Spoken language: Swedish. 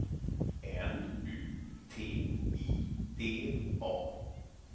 N U T I D A